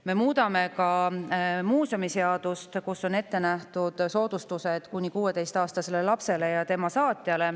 Me muudame ka muuseumiseadust, kus on ette nähtud soodustus ehk tasuta muuseumikülastus kuni 16-aastasele lapsele ja tema saatjale.